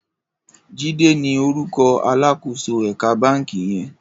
Jide ni órúkò àlákósó èkà bànkí yèn